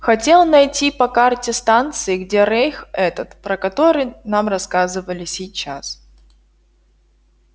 хотел найти по карте станции где рейх этот про который нам рассказывали сейчас